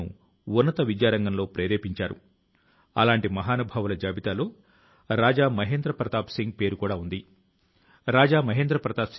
స్వాతంత్ర్యం తాలూకు అమృత్ మహోత్సవం మనకు స్వాతంత్ర్యం తాలూకు పోరాటం యొక్క స్మృతుల ను అనుభూతి చెందింపచేసుకొనేటటువంటి అవకాశాన్ని ప్రసాదిస్తుంది